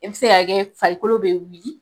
Ɛ bɛ se ka kɛ farikolo be wili